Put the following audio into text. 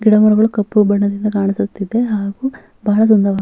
ಗಿಡ ಮರಗಳು ಕಪ್ಪು ಬಣ್ಣದಿಂದ ಕಾಣಿಸುತ್ತಿದೆ ಹಾಗು ಬಹಳ ಸುಂದವ್ --